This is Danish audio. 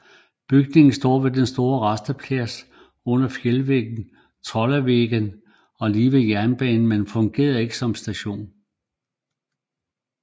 Bygningen står ved den store rasteplads under fjeldvæggen Trollveggen og lige ved jernbanen men fungerer ikke som station